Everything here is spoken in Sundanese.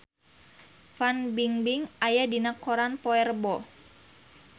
Fan Bingbing aya dina koran poe Rebo